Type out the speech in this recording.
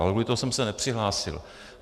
Ale kvůli tomu jsem se nepřihlásil.